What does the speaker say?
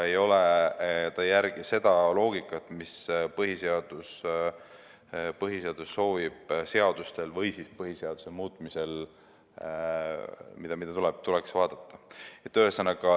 See ei järgi seda loogikat, mida põhiseaduse muutmisel tuleks vaadata.